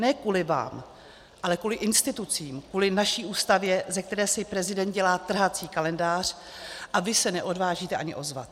Ne kvůli vám, ale kvůli institucím, kvůli naší Ústavě, ze které si prezident dělá trhací kalendář, a vy se neodvážíte ani ozvat.